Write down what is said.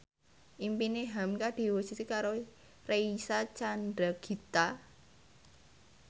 impine hamka diwujudke karo Reysa Chandragitta